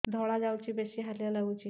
ଧଳା ଯାଉଛି ବେଶି ହାଲିଆ ଲାଗୁଚି